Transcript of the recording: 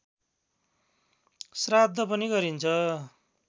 श्राद्ध पनि गरिन्छ